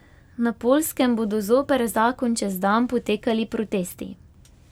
Na Poljskem bodo zoper zakon čez dan potekali protesti.